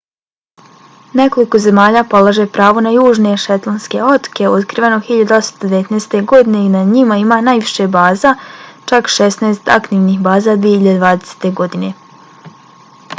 nekoliko zemalja polaže pravo na južne šetlandske otoke otkrivene 1819. godine i na njima ima najviše baza čak šesnaest aktivnih baza 2020. godine